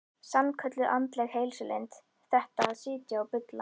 Sannkölluð andleg heilsulind, þetta að sitja og bulla.